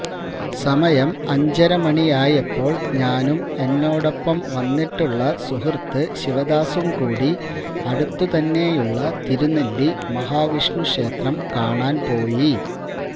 സമയം അഞ്ചരമണിയായപ്പോൾ ഞാനും എന്നോടൊപ്പം വന്നിട്ടുള്ള സുഹൃത്ത് ശിവദാസും കൂടി അടുത്തുതന്നെയുളള തിരുനെല്ലി മഹാവിഷ്ണുക്ഷേത്രം കാണാൻ പോയി